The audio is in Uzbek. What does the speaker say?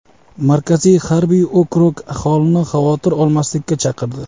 Markaziy harbiy okrug aholini xavotir olmaslikka chaqirdi.